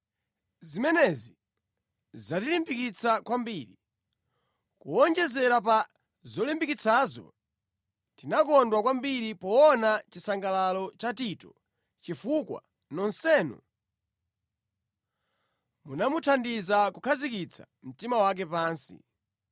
Zimenezi zatilimbikitsa kwambiri. Kuwonjezera pa zotilimbikitsazo, tinakondwa kwambiri poona chisangalalo cha Tito, chifukwa nonsenu munamuthandiza kukhazikitsa mtima wake pansi.